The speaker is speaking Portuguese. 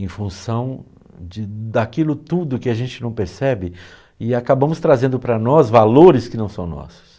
em função de daquilo tudo que a gente não percebe e acabamos trazendo para nós valores que não são nossos.